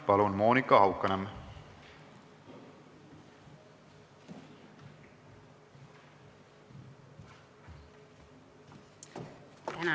Palun, Monika Haukanõmm!